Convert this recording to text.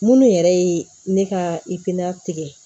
Minnu yɛrɛ ye ne ka tigɛ